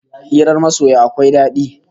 Hirar masoya akwai dadi